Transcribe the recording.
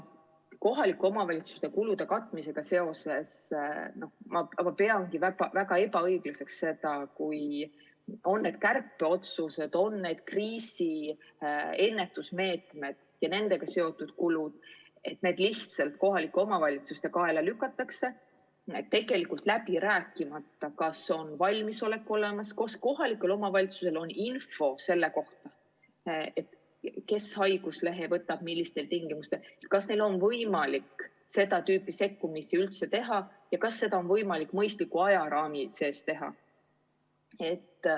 Kohalike omavalitsuste kulude katmise seisukohalt ma peangi väga ebaõiglaseks, kui kas kärpeotsused või kriisiennetusmeetmed ja nendega seotud kulud lihtsalt kohalike omavalitsuste kaela lükatakse, tegelikult läbi rääkimata, kas on valmisolek olemas, kas kohalikul omavalitsusel on info selle kohta, kes haiguslehe võtab ja millistel tingimustel, kas neil on võimalik seda tüüpi sekkumisi üldse teha ja kas seda on võimalik mõistliku ajaraami sees teha.